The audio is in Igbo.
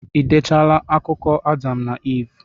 Ị dechaala akụkọ Adam na Iv?